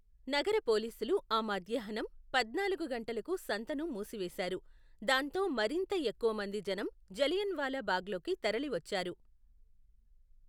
నగర పోలీసులు ఆ మధ్యాహ్నం పద్నాలుగు గంటలకు సంతను మూసివేశారు, దాంతో మరింత ఎక్కువ మంది జనం జలియన్వాలా బాగ్లోకి తరలివచ్చారు.